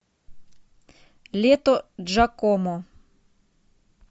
лето джакомо